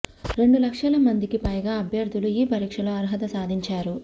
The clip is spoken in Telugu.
రెండు లక్షల మందికి పైగా అభ్యర్థులు ఈ పరీక్షలో అర్హత సాధించారు